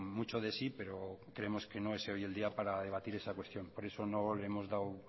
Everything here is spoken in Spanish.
mucho de sí pero creemos que no es hoy el día para debatir esa cuestión por eso no le hemos dado